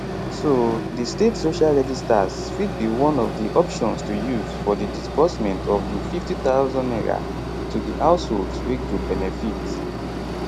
so di state social registers fit be one of di options to use for di disbursement of di n50000 to di housholds wey go benefit